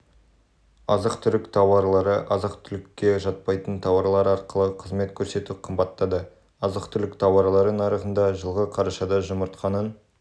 азық түлік тауарлары азық-түлікке жатпайтын тауарлар ақылы қызмет көрсету қымбаттады азық-түлік тауарлары нарығында жылғы қарашада жұмыртқаның